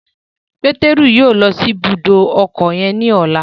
Pétérù yóò lọ si ibùdó ọkọ yen ní ọla